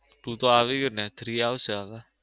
two તો આવી ગયું ને three આવશે હવે.